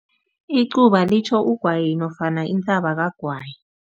Icuba litjho ugwayi nofana kagwayi.